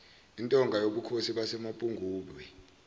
intonga yobukhosi basemapungubwe